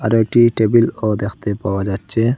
কয়েকটি টেবিলও দেখতে পাওয়া যাচ্ছে।